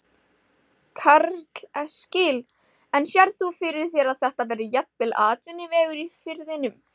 Karl Eskil: En sérð þú fyrir þér að þetta verði jafnvel atvinnuvegur í firðinum?